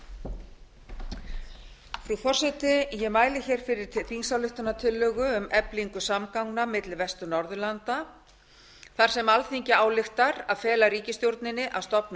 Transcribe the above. frú forseti ég mæli fyrir þingsályktunartillögu um eflingu samgangna milli vestur norðurlanda þar sem alþingi ályktar að fela ríkisstjórninni að stofna